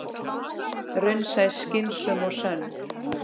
Raunsæ, skynsöm og sönn.